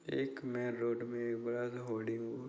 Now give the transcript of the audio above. एक main road में एक बड़ा सा होर्डिंग --